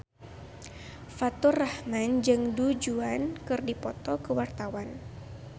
Faturrahman jeung Du Juan keur dipoto ku wartawan